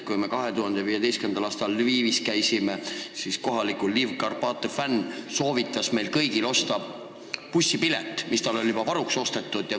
Kui me 2015. aastal Lvivis käisime, siis kohaliku Lvivi Karpatõ fänn soovitas meil kõigil osta bussipilet, mis tal endal oli juba ostetud.